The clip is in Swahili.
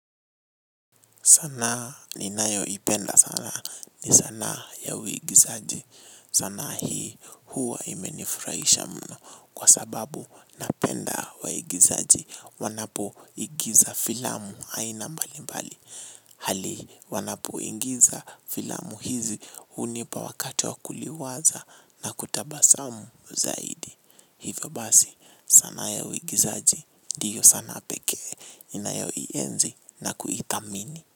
Sana ninayoipenda sana ni sanaa ya uigizaji. Sanaa hii huwa imenifurahisha mno kwa sababu napenda waigizaji. Wanapoigiza filamu aina mbali mbali. Hali wanapoingiza filamu hizi hunipa wakati wa kuliwaza na kutabasamu zaidi. Hivyo basi sana ya uigizaji ndiyo sanaa peke inayoienzi na kuithamini.